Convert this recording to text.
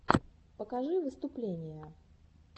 покажи выступления